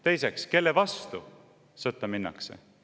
Teiseks, kelle vastu sõtta minnakse?